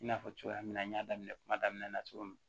I n'a fɔ cogoya min na n y'a daminɛ kuma daminɛ na cogo min